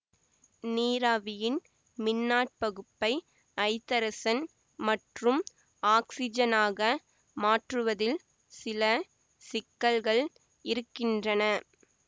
நீராவியின் மின்னாற்பகுப்பை ஐதரசன் மற்றும் ஆக்ஸிஜனாக மாற்றுவதில் சில சிக்கல்கள் இருக்கின்றன